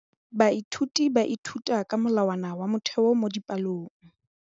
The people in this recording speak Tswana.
Baithuti ba ithuta ka molawana wa motheo mo dipalong.